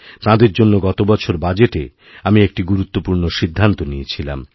তাঁদের জন্য গতবছর বাজেটে আমি একটি গুরুত্বপূর্ণ সিদ্ধান্ত নিয়েছিলাম